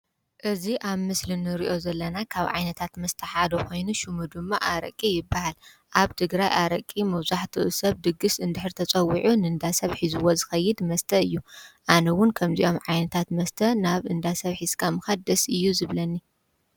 እዚ አብ ምስሊ እንሪኦ ዘለና ካብ ዓይነታት መስተ ሓደ ኮይኑ ሽሙ ድማ አረቂ ይበሃል። አብ ትግራይ አረቂ መብዛሕትኡ ሰብ ድግስ እንድሕር ተፀዊዑ ንንዳሰብ ሒዝዎ ዝኸይድ መስተ እዩ ። አነ እውን ከምዚኦም ዓይነታት መስተ ናብ እንዳ ሰብ ሒዝካ ምካድ ደስ እዩ ዝብለኒ።